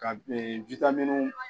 Ka